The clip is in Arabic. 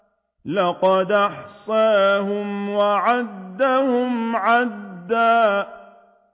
لَّقَدْ أَحْصَاهُمْ وَعَدَّهُمْ عَدًّا